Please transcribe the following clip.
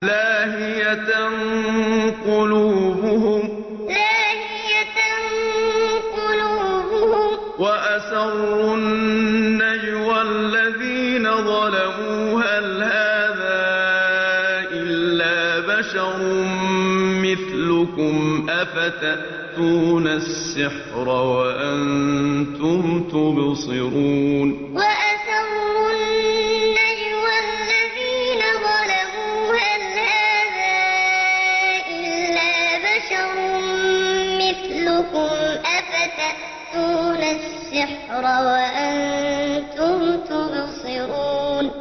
لَاهِيَةً قُلُوبُهُمْ ۗ وَأَسَرُّوا النَّجْوَى الَّذِينَ ظَلَمُوا هَلْ هَٰذَا إِلَّا بَشَرٌ مِّثْلُكُمْ ۖ أَفَتَأْتُونَ السِّحْرَ وَأَنتُمْ تُبْصِرُونَ لَاهِيَةً قُلُوبُهُمْ ۗ وَأَسَرُّوا النَّجْوَى الَّذِينَ ظَلَمُوا هَلْ هَٰذَا إِلَّا بَشَرٌ مِّثْلُكُمْ ۖ أَفَتَأْتُونَ السِّحْرَ وَأَنتُمْ تُبْصِرُونَ